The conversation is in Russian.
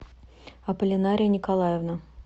апполинария николаевна